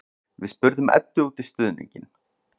Við spurðum Eddu út í stuðninginn.